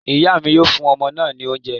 Ìyá mi yóò fún ọmọ náà ní oúnjẹ